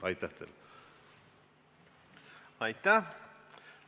Aitäh!